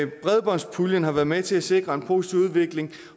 bredbåndspuljen har været med til at sikre en positiv udvikling